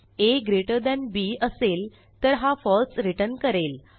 आ greater than B असेल तर हा फळसे returnकरेल